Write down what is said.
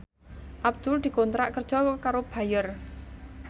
Abdul dikontrak kerja karo Bayer